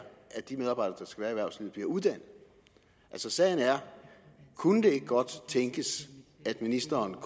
at de medarbejdere der skal erhvervslivet bliver uddannet altså sagen er kunne det ikke godt tænkes at ministeren og